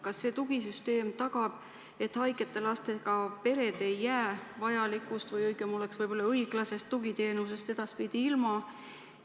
Kas see tugisüsteem tagab, et haigete lastega pered ei jää vajalikust – võib-olla oleks õigem öelda õiglasest – tugiteenusest edaspidi ilma?